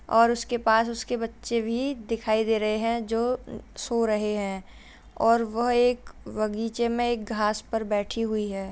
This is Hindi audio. और उसके पास उसके बच्चे भी दिखाई दे रहे हैं जो सो रहे हैं और वह एक बगीचे में एक घास पर बैठी हुई है।